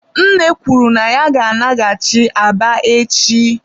nne kwuru na ya ga-alaghachi Aba echi.